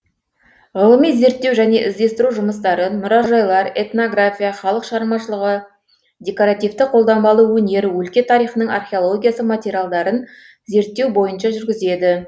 ғылыми зерттеу және іздестіру жұмыстарын мұражайлар этнография халық шығармашылығы декоративті қолданбалы өнер өлке тарихының археологиясы материалдарын зерттеу бойынша жүргізеді